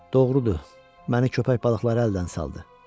Doğrudur, məni köpək balıqları əldən saldı.